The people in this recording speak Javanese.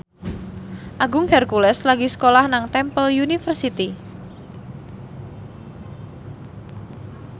Agung Hercules lagi sekolah nang Temple University